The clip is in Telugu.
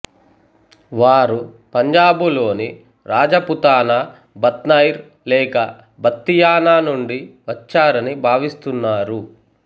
వారు పంజాబు లోని రాజపుతానా భత్నైర్ లేక భత్తియానా నుండి వచ్చారని భావిస్తున్నారు